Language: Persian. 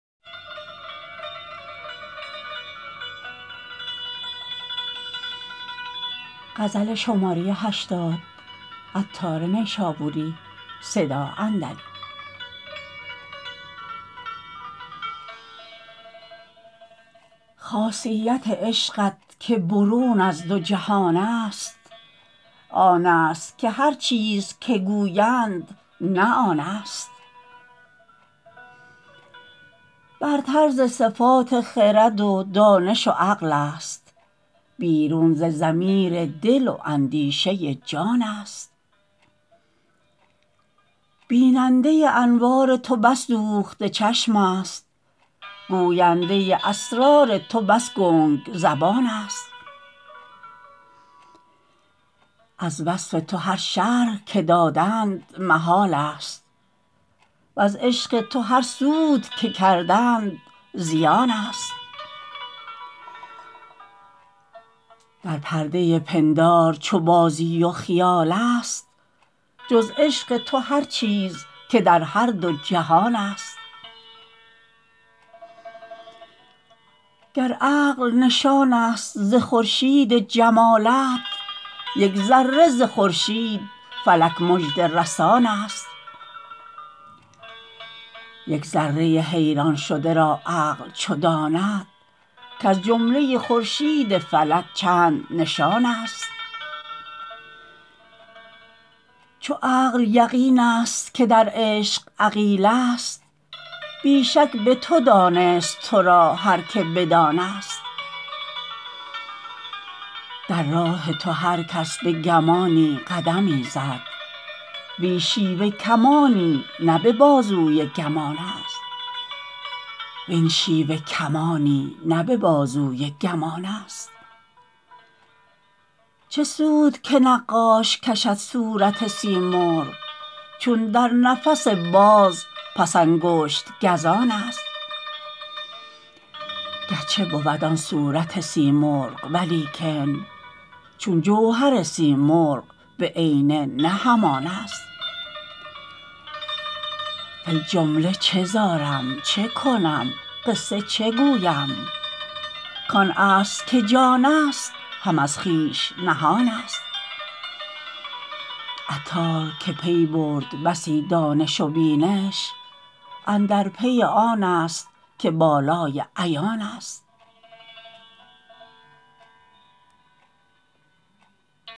خاصیت عشقت که برون از دو جهان است آن است که هرچیز که گویند نه آن است برتر ز صفات خرد و دانش و عقل است بیرون ز ضمیر دل و اندیشه جان است بیننده انوار تو بس دوخته چشم است گوینده اسرار تو بس گنگ زبان است از وصف تو هر شرح که دادند محال است وز عشق تو هر سود که کردند زیان است در پرده پندار چو بازی و خیال است جز عشق تو هر چیز که در هر دو جهان است گر عقل نشان است ز خورشید جمالت یک ذره ز خورشید فلک مژده رسان است یک ذره حیران شده را عقل چو داند کز جمله خورشید فلک چند نشان است چو عقل یقین است که در عشق عقیله است بی شک به تو دانست تو را هر که بدان است در راه تو هرکس به گمانی قدمی زد وین شیوه کمانی نه به بازوی گمان است چه سود که نقاش کشد صورت سیمرغ چون در نفس باز پس انگشت گزان است گرچه بود آن صورت سیمرغ ولیکن چون جوهر سیمرغ به عینه نه همان است فی الجمله چه زارم چکنم قصه چه گویم کان اصل که جان است هم از خویش نهان است عطار که پی برد بسی دانش و بینش اندر پی آن است که بالای عیان است